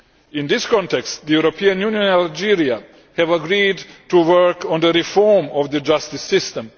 In this context, the EU and Algeria have agreed to work on the reform of the justice system.